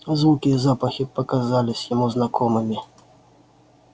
звуки и запахи показались ему знакомыми